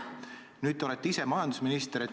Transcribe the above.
Nüüd olete te ise majandusminister.